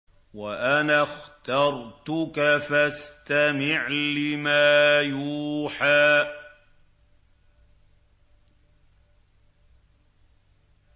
وَأَنَا اخْتَرْتُكَ فَاسْتَمِعْ لِمَا يُوحَىٰ